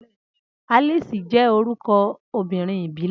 Alice jẹ́ orúkọ obìnrin ìbílẹ̀.